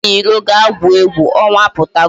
Jee n'iro ga-gwuo egwu, ọnwa apụtago